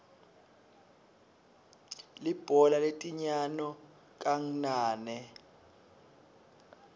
libhola letinyano kangnane